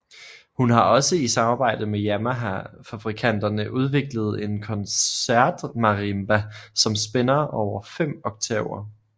Hun har også i samarbejde med Yamaha fabrikanterne udviklet en koncertmarimba som spænder over fem oktaver